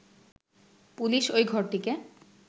police ওই ঘরটিকে